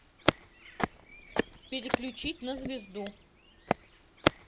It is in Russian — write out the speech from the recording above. переключить на звезду